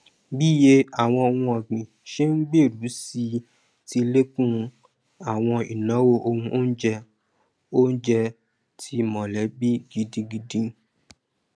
bí iye àwọn ohun ọgbìn ṣe n gbèrú sí i ti lékún àwọn ìnáwó ohun oúnjẹ oúnjẹ ti mọlẹbí gidigidi